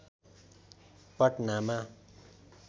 पटनामा